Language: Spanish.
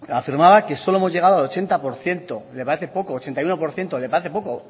afirmaba que solo hemos llegado al ochenta y uno por ciento le parece poco